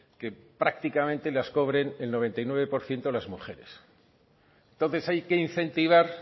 que prácticamente las cobren el noventa y nueve por ciento las mujeres entonces hay que incentivar